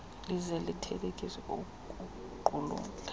lize lithelekise okuqulathwe